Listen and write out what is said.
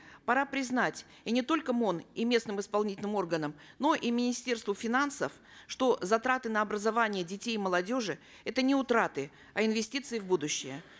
пора признать и не только мон и местным исполнительным органам но и министерству финансов что затраты на образование детей и молодежи это не утраты а инвестиции в будущее